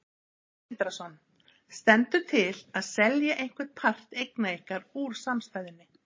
Sindri Sindrason: Stendur til að selja einhvern part eigna ykkar úr samstæðunni?